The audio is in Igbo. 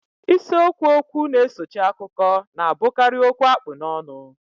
Isiokwu okwu na-esochi akụkọ na-abụkarị okwu a kpụ n'ọnụ